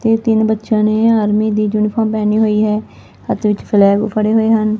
ਤੇ ਤਿੰਨ ਬੱਚਿਆਂ ਨੇ ਆਰਮੀ ਦੀ ਯੂਨੀਫਾਰ ਪਹਣੀ ਹੋਈ ਹੈ ਹੱਥ ਵਿੱਚ ਫਲੈਗ ਫੜੇ ਹੋਏ ਹਨ।